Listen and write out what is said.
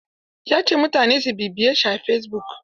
Ya ce mutane su bibiyeshi a fesibuk.